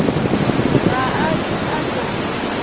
ga a ke a no